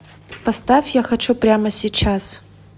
поставь я хочу прямо сейчас